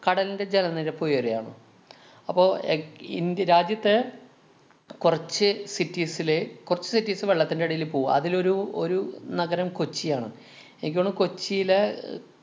കടലിന്‍റെ ജലനിരപ്പ് ഉയരുകയാണ്. അപ്പൊ എക്~ ഇന്ത്യ രാജ്യത്ത് കൊറച്ച് cities ലെ കൊറച്ച് cities വെള്ളത്തിന്‍റടീല് പോവും. അതിലൊരു ഒരു നഗരം കൊച്ചിയാണ്. എനിക്ക് തോന്നണു കൊച്ചിയിലെ